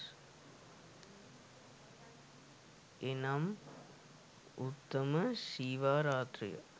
එනම් උත්තම ශිව රාත්‍රිය